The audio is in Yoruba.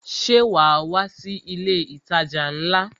Ṣé wa wá sí ilé itaja ńlá?